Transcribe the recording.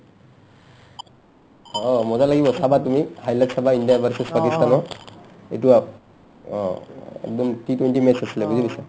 অ মজা লাগিব চাবা তুমি highlight চাবা ইণ্ডিয়া versus পাকিস্তানৰ ইটো আপ অ, একদম T twenty match আছিলে বুজি পাইছা